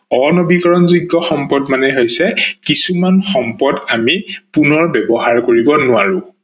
অনৱীকৰনযোগ্য সম্পদ মানে হৈছে কিছুমান সম্পদ আমি পুণৰ ব্যৱহাৰ কৰিব নোৱাৰো